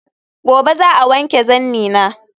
Gobe ​​za'a wanke zannina